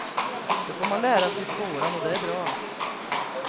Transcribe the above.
Det får man lära sig i skolan, och det är bra.